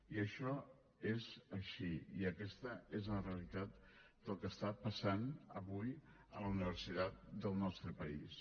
i això és així i aquesta és la realitat del que està passant avui a la universitat del nostre país